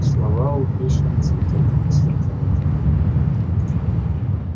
слова у пришвина цветут сверкают